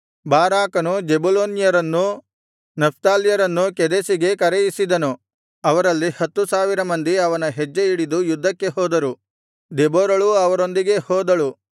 ಬಾರಾಕನು ಜೆಬುಲೂನ್ಯರನ್ನೂ ನಫ್ತಾಲ್ಯರನ್ನೂ ಕೆದೆಷಿಗೆ ಕರೆಯಿಸಿದನು ಅವರಲ್ಲಿ ಹತ್ತು ಸಾವಿರ ಮಂದಿ ಅವನ ಹೆಜ್ಜೆ ಹಿಡಿದು ಯುದ್ಧಕ್ಕೆ ಹೋದರು ದೆಬೋರಳೂ ಅವರೊಂದಿಗೆ ಹೋದಳು